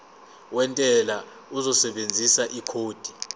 wentela uzosebenzisa ikhodi